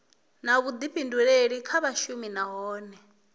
na vhuḓifhinduleli kha vhashumi nahone